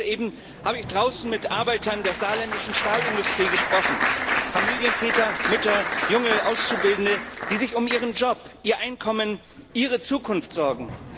Gerade eben habe ich draußen mit Arbeitern der saarländischen Stahlindustrie gesprochen Familienväter, Mütter, junge Auszubildende, die sich um ihren Job, ihr Einkommen und ihre Zukunft sorgen.